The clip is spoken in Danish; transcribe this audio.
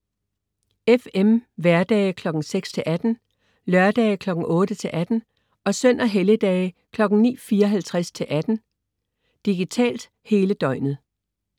FM: hverdage kl. 06.00-18.00, lørdage kl. 08.00-18.00 og søn- og helligdage: 09.54-18.00. Digitalt: Hele døgnet